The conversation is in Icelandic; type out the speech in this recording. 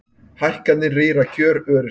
Hækkanir rýra kjör öryrkja